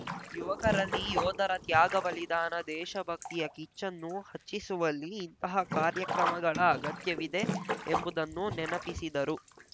ಯುವಕರಲ್ಲಿ ಯೋಧರ ತ್ಯಾಗ ಬಲಿದಾನ ದೇಶಭಕ್ತಿಯ ಕಿಚ್ಚನ್ನು ಹಚ್ಚಿಸುವಲ್ಲಿ ಇಂತಹ ಕಾರ್ಯಕ್ರಮಗಳ ಅಗತ್ಯವಿದೆ ಎಂಬುದನ್ನು ನೆನಪಿಸಿದರು